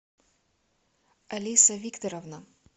алиса викторовна